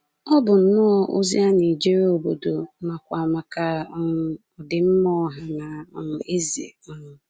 Ọ bụ nnọọ ozi a na-ejere obodo nakwa maka um ọdịmma ọha na um eze. um